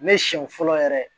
Ne siɲɛ fɔlɔ yɛrɛ ye